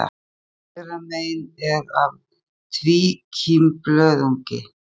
Myndin hægra megin er af tvíkímblöðungi.